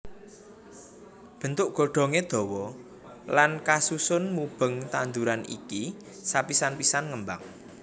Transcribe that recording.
Bentuk godhongé dawa lan kasusun mubeng tanduran iki sapisan pisan ngembang